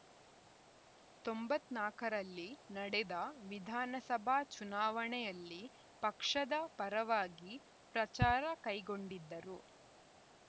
ತೊಂಬತ್ತ್ ನಾಕರಲ್ಲಿ ನಡೆದ ವಿಧಾನಸಭಾ ಚುನಾವಣೆಯಲ್ಲಿ ಪಕ್ಷದ ಪರವಾಗಿ ಪ್ರಚಾರ ಕೈಗೊಂಡಿದ್ದರು